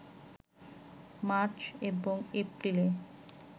March এবং এপ্রিলে